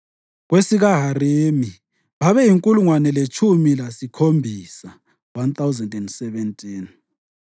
kwesikaHarimi babeyinkulungwane letshumi lasikhombisa (1,017).